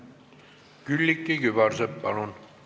Külliki Kübarsepp, palun!